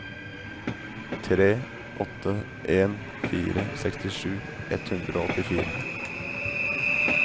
tre åtte en fire sekstisju ett hundre og åttifire